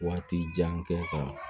Waati jan kɛ ka